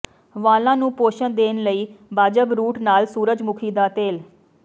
ਵਾਲਾਂ ਨੂੰ ਪੋਸ਼ਣ ਦੇਣ ਲਈ ਬਾਜਬ ਰੂਟ ਨਾਲ ਸੂਰਜਮੁਖੀ ਦਾ ਤੇਲ